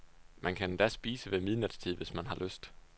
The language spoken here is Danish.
Man kan endda spise ved midnatstid, hvis man har lyst.